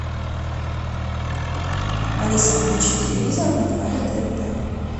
алиса включи телевизор на канале тнт